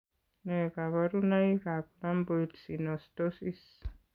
Nee kabarunoikab Lamboid synostosis?